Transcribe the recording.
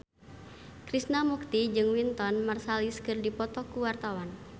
Krishna Mukti jeung Wynton Marsalis keur dipoto ku wartawan